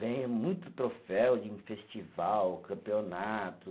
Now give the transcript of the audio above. Ganhei muito troféu de em festival, campeonato